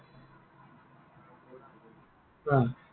অ।